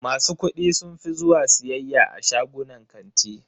Masu kuɗi sun fi zuwa siyayya a shagunan kanti.